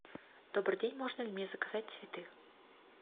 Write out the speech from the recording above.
добрый день можно ли мне заказать цветы